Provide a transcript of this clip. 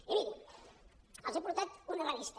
i miri els he portat una revista